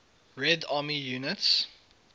red army units